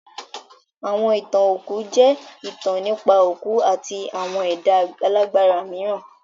Àwọn ìtàn òkú jẹ́ ìtàn nípa òkú àti àwọn ẹ̀dá alágbára mìíràn.